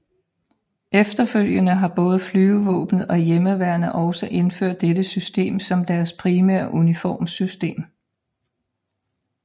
Efterfølgende har både Flyvevåbnet og Hjemmeværnet også indført dette system som deres primære uniformssystem